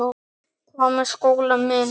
Hvað með skólann minn?